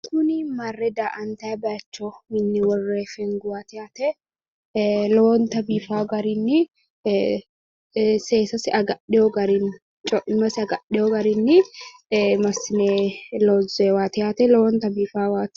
Tini marre da"atayi baayicho minne worroonni fenguwaati yaaate lowonta biifa garinni seessasi agadheewo garinni hoiimmasi agadheewo garinnin massine loonsonni garaati.